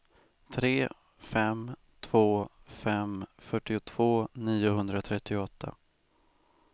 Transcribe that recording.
tre fem två fem fyrtiotvå niohundratrettioåtta